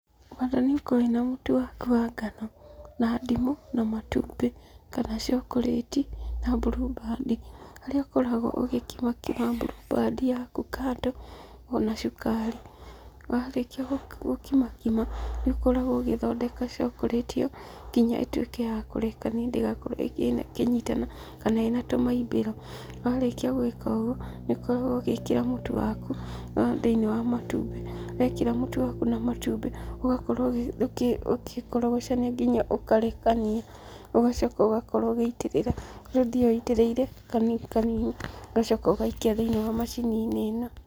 Bata nĩũkorwo wĩna mũtu waku wa ngano, na ndimũ na matumbĩ. Kana cokorĩti, na mburumbandi. Harĩa ũkoragwo ũgĩkima kima mburumbandi yaku kando, ona cukari. Warĩkia gũkima kima, nĩũkoragwo ũgĩthondeka cokorĩti ĩyo, nginya ĩtuĩke yakũrekania, ndĩgakorwo ĩkĩnyitana, kana ĩna tũmaimbĩro. Warĩkia gwĩka ũguo, nĩũkoragwo ũgĩkĩra mũtu waku, thĩinĩ wa matumbĩ. Wekĩra mũtu waku na matumbĩ, ũgakorwo ũgĩkorogocania nginya ũkarekania. Ũgacoka ũgakorwo ũgĩitĩrĩra, harĩa ũthiaga witĩrĩirie kanini kanini, ũgacoka ũgaikia thĩinĩ wa macini-inĩ ĩno.